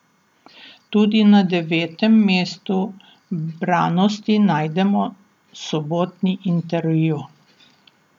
Tudi na devetem mestu branosti najdemo sobotni intervju.